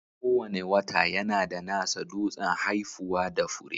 Kowane wata yana da nasa dutsen haifuwa da fure.